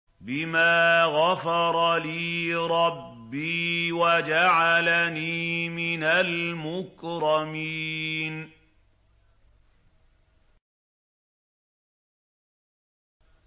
بِمَا غَفَرَ لِي رَبِّي وَجَعَلَنِي مِنَ الْمُكْرَمِينَ